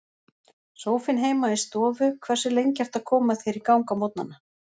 Sófinn heima í stofu Hversu lengi ertu að koma þér í gang á morgnanna?